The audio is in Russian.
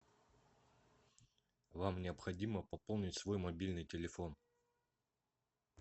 вам необходимо пополнить свой мобильный телефон